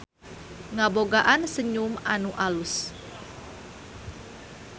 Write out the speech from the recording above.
Ngabogaan senyum anu alus.